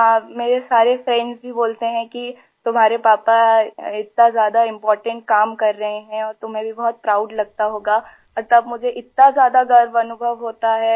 हाँ मेरे सारे फ्रेंड्स भी बोलते हैं कि तुम्हारे पापा इतना ज़्यादा इम्पोर्टेंट काम कर रहे हैं और तुम्हें भी बहुत प्राउड लगता होगा और तब मुझे इतना ज़्यादा गर्व अनुभव होता है